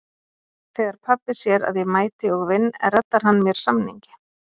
Þegar pabbi sér að ég mæti og vinn reddar hann mér samningi.